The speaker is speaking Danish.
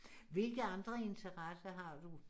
Hvilke andre interesser har du